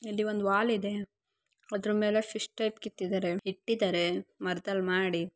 ಇಲ್ಲಿ ಒಂದು ವಾಲ್ ಇದೆ ಅದರ ಮೇಲೆ ಫಿಶ್ ಟೈಪ್‌ ಕೆತ್ತಿದ್ದಾರೆ ಇಟ್ಟಿದರೆ ಮರದಲ್ಲಿ ಮಾಡಿ.